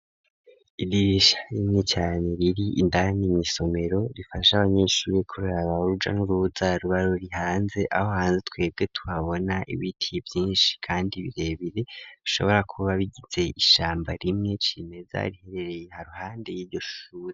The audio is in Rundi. Idirisha rimwe cane riri indani, mw' isomero rifasha abanyeshuri kurabaruja n'uruza rubari rihanze, aho hanze twebwe twabona ibiti vyinshi kandi birebire, ashobora kuba bigize ishamba rimwe cimeza, riherereye iharuhande y'ivyoshuri.